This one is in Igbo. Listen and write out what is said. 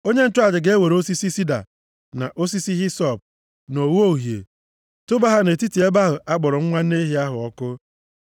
Onye nchụaja ga-ewere osisi sida, na osisi hisọp, na ogho uhie, tụba ha nʼetiti ebe ahụ a kpọrọ nwa nne ehi ahụ ọkụ.